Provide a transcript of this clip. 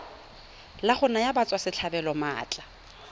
la go naya batswasetlhabelo maatla